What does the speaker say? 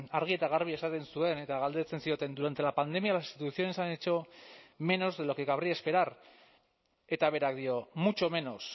argi eta garbi esaten zuen eta galdetzen zioten durante la pandemia las instituciones han hecho menos de lo que cabría esperar eta berak dio mucho menos